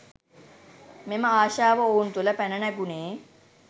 මෙම ආශාව ඔවුන් තුළ පැන නැගුණේ